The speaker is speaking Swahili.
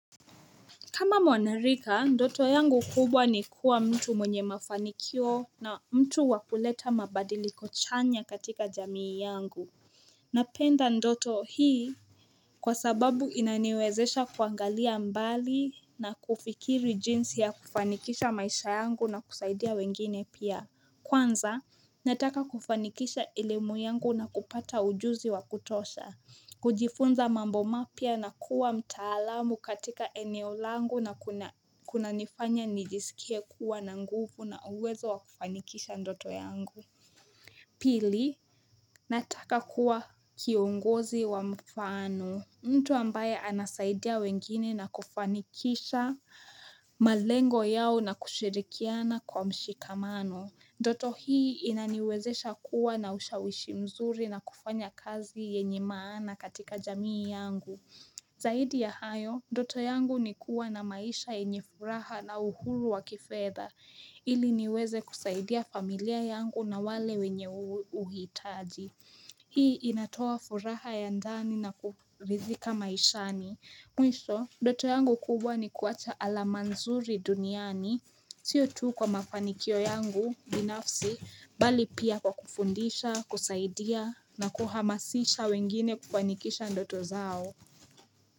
Kama mwanarika, ndoto yangu kubwa ni kuwa mtu mwenye mafanikio na mtu wakuleta mabadiliko chanya katika jamii yangu. Napenda ndoto hii kwa sababu inaniwezesha kuangalia mbali na kufikiri jinsi ya kufanikisha maisha yangu na kusaidia wengine pia. Kwanza, nataka kufanikisha elimu yangu na kupata ujuzi wa kutosha. Kujifunza mambo mapya na kuwa mtaalamu katika eneo langu na kuna nifanya nijisikie kuwa na nguvu na uwezo wa kufanikisha ndoto yangu Pili, nataka kuwa kiongozi wa mfano mtu ambaye anasaidia wengine na kufanikisha malengo yao na kushirikiana kwa mshikamano ndoto hii inaniwezesha kuwa na usha wishi mzuri na kufanya kazi yenye maana katika jamii yangu. Zaidi ya hayo, ndoto yangu nikuwa na maisha yenye furaha na uhuru wa kifedha, ili niweze kusaidia familia yangu na wale wenye uhitaji. Hii inatoa furaha ya ndani na kurizika maishani. Mwisho, ndoto yangu kubwa ni kuwacha alama nzuri duniani, sio tuu kwa mafanikio yangu binafsi, bali pia kwa kufundisha, kusaidia, na kuhamasisha wengine kupanikisha ndoto zao.